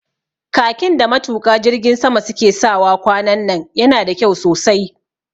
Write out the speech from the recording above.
Khakin da matuƙa jirgin sama su ke sawa kwanan nan yana da kyau sosai